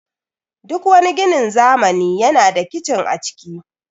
Duk wani ginin zamani yana da kicin a ciki